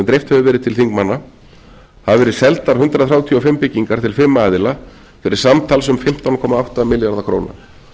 dreift hefur verið til þingmanna hafa verið seldar hundrað þrjátíu og fimm byggingar til fimm aðila fyrir samtals um fimmtán komma átta milljarða króna